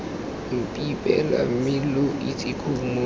mpipela mme lo itseng khumo